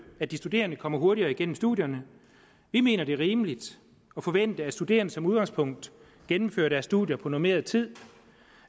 at de studerende kommer hurtigere igennem studierne vi mener det er rimeligt at forvente at studerende som udgangspunkt gennemfører deres studier på normeret tid